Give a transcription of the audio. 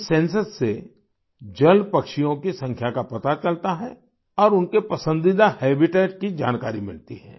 इस सेंसस से जल पक्षियों की संख्या का पता चलता है और उनके पसंदीदा हैबिटेट की जानकारी मिलती है